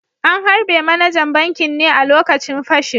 An harbe manajan bankin ne a lokacin fashin